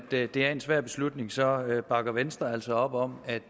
det er en svær beslutning så bakker venstre altså op om at